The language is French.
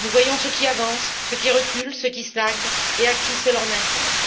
Nous voyons ce qui avance, ce qui recule, ce qui stagne et à qui cela incombe.